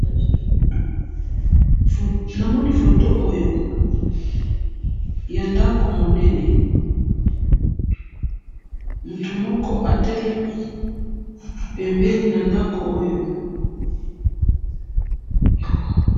he nmoni foto oyo ya ndaku munene mutu moko atelemi pembeni na ndaku oyo